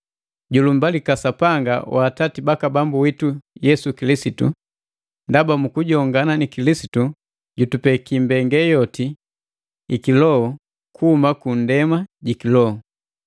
Julumbalika Sapanga wa Atati baka Bambu witu Yesu Kilisitu! Ndaba mu kujongana ni Kilisitu jutupeki mbenge yoti i kiloho kuhuma kundema ji kiloho.